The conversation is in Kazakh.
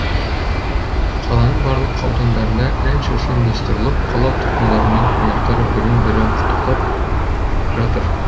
қаланың барлық аудандарында ән шашу ұйымдастырылып қала тұрғындарымен қонақтары бірін бірі құттықтап жатыр